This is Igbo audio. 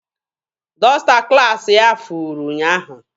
Dọsta klaasị ya furu ụnyaahụ.